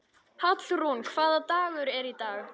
Hallrún, hvaða dagur er í dag?